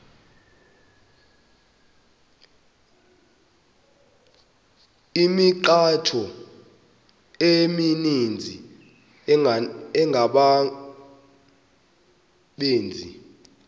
imithqtho emininzi engabaqbenzi